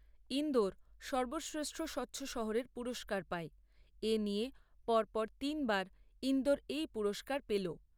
ইন্দোর সর্বশ্রেষ্ঠ স্বচ্ছ শহরের পুরস্কার পায়, এ নিয়ে পরপর তিনবার ইন্দোর এই পুরস্কার পেল।